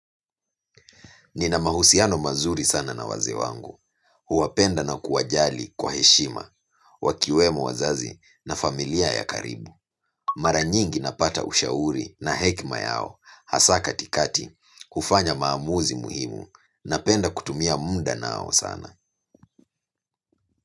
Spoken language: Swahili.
Nina mahusiano mazuri sana na wazee wangu. Huwapenda na kuwajali kwa heshima, wakiwemo wazazi na familia ya karibu. Mara nyingi napata ushauri na hekima yao hasa katikati kufanya maamuzi muhimu napenda kutumia muda nao sana.